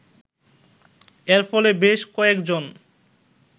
এর ফলে বেশ কয়েকজন